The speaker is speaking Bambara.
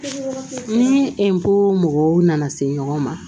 Ni n ko mɔgɔw nana se ɲɔgɔn ma